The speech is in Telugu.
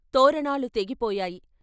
తోరణాలు తెగిపోయాయి.